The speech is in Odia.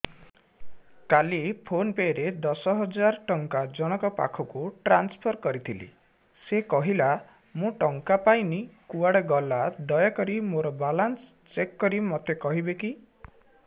କାଲି ଫୋନ୍ ପେ ରେ ଦଶ ହଜାର ଟଙ୍କା ଜଣକ ପାଖକୁ ଟ୍ରାନ୍ସଫର୍ କରିଥିଲି ସେ କହିଲା ମୁଁ ଟଙ୍କା ପାଇନି କୁଆଡେ ଗଲା ଦୟାକରି ମୋର ବାଲାନ୍ସ ଚେକ୍ କରି ମୋତେ କହିବେ କି